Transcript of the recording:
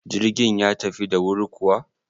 Jirgin ya tafi da wuri kuwa?